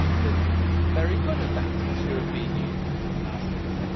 We have not been very good at that as a European Union in the last ten